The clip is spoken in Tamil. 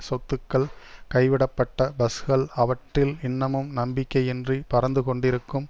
சொத்துக்கள் கைவிடப்பட்ட பஸ்கள் அவற்றில் இன்னமும் நம்பிக்கையின்றி பறந்து கொண்டிருக்கும்